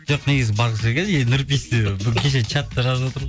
жоқ негізі барлық жерге нұрпейіс те кеше чатта жазып отыр